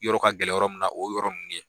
Yɔrɔ ka gɛlɛ yɔrɔ min na o y'o yɔrɔ minnu ye.